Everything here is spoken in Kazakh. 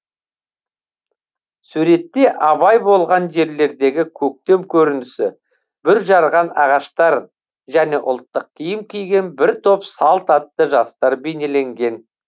суретте абай болған жерлердегі көктем керінісі бүр жарған ағаштар және ұлттық киім киген бір топ салт атты жастар бейнеленген